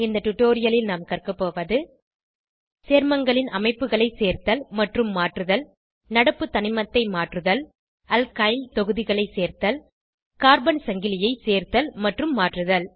இந்த டுடோரியலில் நாம் கற்கபோவது சேர்மங்களின் அமைப்புகளை சேர்த்தல் மற்றும் மாற்றுதல் நடப்பு தனிமத்தை மாற்றுதல் அல்கைல் தொகுதிகளை சேர்த்தல் கார்பன் சங்கிலியை சேர்த்தல் மற்றும் மாற்றுதல்